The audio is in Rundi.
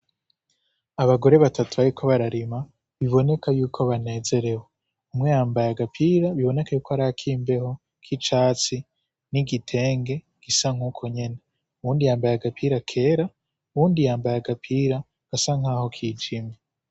Abagore batatu bariko bararima biboneka yuko banezerewe. Umwe yambaye agapira biboneka yuko ari akimbeho k'icatsi n'igitenge gisa nk'uko yene. Uwundi yambaye agapira kera, uwundi yambaye agapira gasa nkaho kijime.